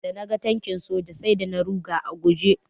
Da naga tankin soja sai da na ruga a guje.